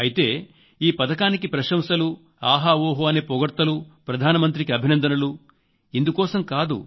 అయితే ఈ పథకానికి ప్రశంసలు ఆహాఓహో అనే పొగడ్తలు ప్రధాన మంత్రికి అభినందనలు ఇందుకోసం కాదు